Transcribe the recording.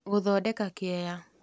Gũthondeka kĩeya.